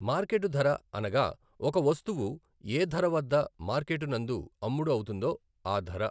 Market ధర అనగా ఒక వస్తువు ఏ ధర వద్ద మార్కెటు నందు అమ్ముడు అవుతుందో ఆ ధర.